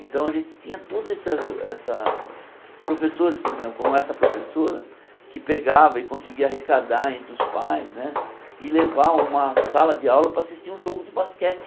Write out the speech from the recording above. Então a gente tinha toda essa essa professores, por exemplo, como essa professora, que pegava e conseguia arrecadar entre os pais né e levar uma sala de aula para assistir um jogo de basquete.